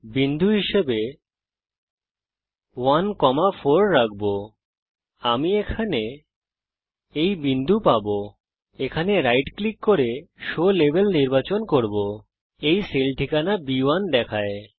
বিন্দু হিসাবে 1 4 রাখব আমি এখানে এই বিন্দু পাবো আমি রাইট ক্লিক করতে পারি এবং শো লেবেল নির্বাচন করবো এটি সেল ঠিকানা বি1 দেখায়